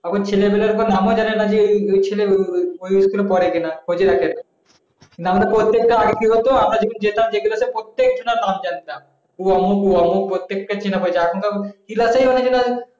তারপর ছেলেপেলেরা নামও জানে না ছেলে ওই school পড়ে কিনা খোঁজ ই রাখে না। না আমরা প্রত্যেকটা আইপি হত আমরা যখন যেতাম যেগুলোতে প্রত্যেক জনার নাম জানতাম ও অম ক ও অমুক প্রত্যেকটা চেনা পরিচিত class অনেকজনা